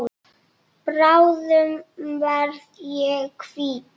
Bráðum verð ég hvítur.